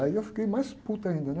Aí eu fiquei mais puto ainda, né?